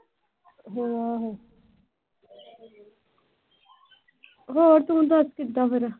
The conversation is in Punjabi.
ਹੋਰ ਤੂੰ ਦੱਸ ਕਿਦਾਂ ਫਿਰ।